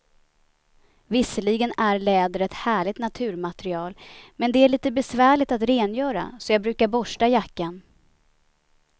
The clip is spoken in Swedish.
Visserligen är läder ett härligt naturmaterial, men det är lite besvärligt att rengöra, så jag brukar borsta jackan.